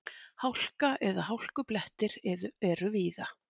Hálka eða hálkublettir eru víða